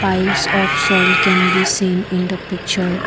mines of soil can be seen the picture.